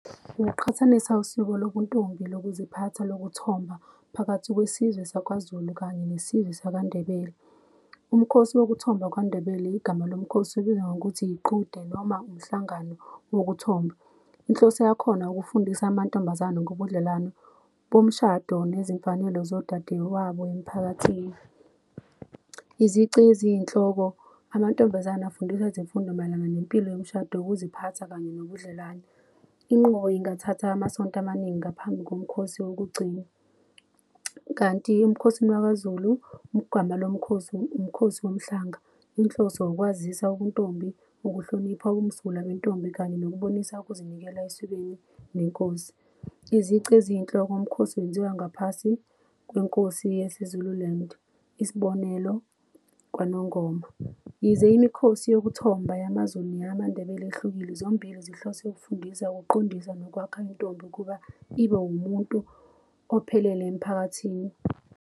Ngokuqhathanisa usiko lobuntombi, lokuziphatha lokuthomba phakathi kwesizwe sakwaZulu kanye nesizwe sakaNdebele. Umkhosi wokuthomba kwaNdebele igama lomkhosi libizwa ngokuthi iqhude noma umhlangano wokuthomba. Inhloso yakhona ukufundisa amantombazane ngobudlelwano bomshado nezimfanelo zodadewabo emphakathini. Izici eziyinhloko, amantombazane afundiswa ezemfundo mayelana nempilo yomshado yokuziphatha kanye nobudlelwane. Inqubo ingathatha amasonto amaningi ngaphambi komkhosi wokugcina kanti emkhosini waKwaZulu igama lomkhosi umkhosi womhlanga. Inhloso ukwazisa ubuntombi, ukuhlonipha ubumsulwa bentombi kanye nokubonisa ukuzinikela esikweni nenkosi. Izici eziyinhloko umkhosi wenziwa ngaphasi kwenkosi yesiZululand, isibonelo KwaNongoma. Yize imikhosi yokuthomba yamaZulu neyamaNdebele yehlukile zombili zihlose ukufundisa, ukuqondisa nokwakha intombi ukuba ibe umuntu ophelele emphakathini.